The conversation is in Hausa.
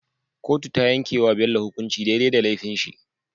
Kotu tayan yake wa Bello hukunci dai dai da lefin shi